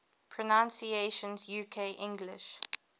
pronunciations uk english